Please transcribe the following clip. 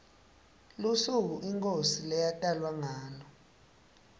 lusuku inkhosi leyatalwa ngalo